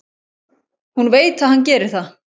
Hún veit að hann gerir það.